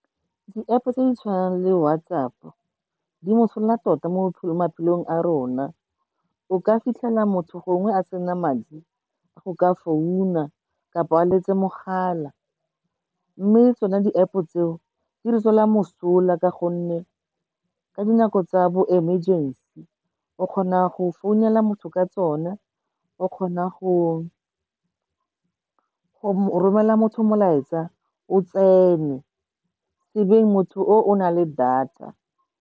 Di-App-o tse di tshwanang le WhatsApp-o, di mosola tota mo maphelong a rona, o ka fitlhela motho gongwe a sena madi, go ka founa kapa a letse mogala. Mme le tsona di-App-o tseo, di re tswela mosola ka gonne ka dinako tsa bo emergency, o kgona go founela motho ka tsona, o kgona go romelela motho molaetsa, o tsene, sebeng motho o o na le data.